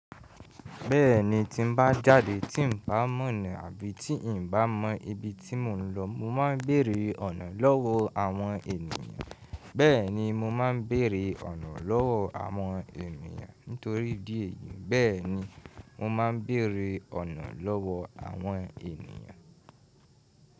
Bẹ́ẹ̀ni tí n bá jáde tí n bá mọ̀ ọ̀nà àbí tí n bá mọ ibi tí mò ń lọ, mo máa ń béèrè ọ̀nà lọ́wọ́ àwọn ènìyàn. Bẹ́ẹ̀ni mo máa ń béèrè ọ̀nà lọ́wọ́ àwọn ènìyàn nítorí idi eyìí. Bẹ́ẹ̀ni mo máa ń béèrè ọ̀nà lọ́wọ́ àwọn ènìyàn.